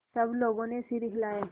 सब लोगों ने सिर हिलाए